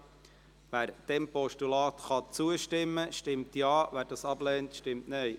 Wer diesem Postulat zustimmen kann, stimmt Ja, wer es ablehnt, stimmt Nein.